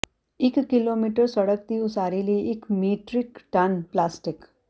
ਇਕ ਕਿਲੋਮੀਟਰ ਸੜਕ ਦੀ ਉਸਾਰੀ ਲਈ ਇਕ ਮੀਟ੍ਰਿਕ ਟਨ ਪਲਾਸਟਿਕ